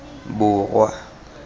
borwa